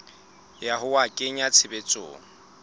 ya ho a kenya tshebetsong